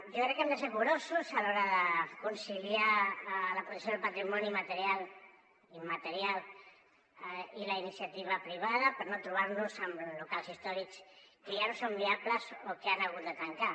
jo crec que hem de ser curosos a l’hora de conciliar la protecció del patrimoni material i immaterial i la iniciativa privada per no trobar nos amb locals històrics que ja no són viables o que han hagut de tancar